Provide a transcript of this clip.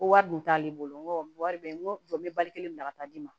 Ko wari dun t'ale bolo n ko wari bɛ n jɔ n bɛ bali kelen bila ka taa di ma